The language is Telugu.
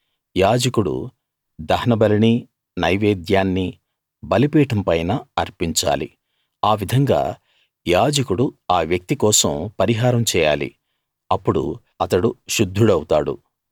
యాజకుడు దహనబలినీ నైవేద్యాన్నీ బలిపీఠం పైన అర్పించాలి ఆవిధంగా యాజకుడు ఆ వ్యక్తి కోసం పరిహారం చేయాలి అప్పుడు అతడు శుద్ధుడవుతాడు